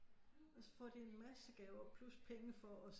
Og så får de en masse gaver plus penge for at